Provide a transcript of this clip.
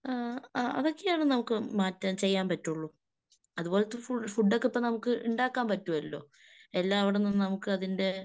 ഈങ്‌ അതൊക്കെയാണ് നമുക്ക് മാറ്റാൻ ചെയ്യാൻ പറ്റുള്ളൂ. അതുപോലത്തെ ഫുഡൊക്കെ ഇപ്പൊ നമുക്ക് ഉണ്ടാക്കാൻ പറ്റുമല്ലോ. എല്ലാവടന്നും നമുക്കതിന്റെ